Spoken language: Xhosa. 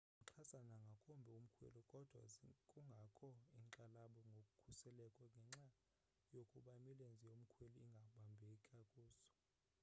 zimxhasa nangakumbi umkhweli kodwa kungakho inkxalabo ngokhuseleko ngenxa yokuba imilenze yomkhweli ingabambeka kuso